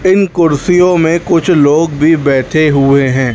इन कुर्सियों में कुछ लोग भी बैठे हुए हैं।